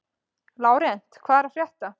Lárent, hvað er að frétta?